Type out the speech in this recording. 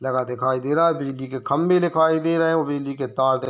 लगा दिखाई दे रहा है बिजली के खम्भे दिखाई दे रहे है और बिजली के तार --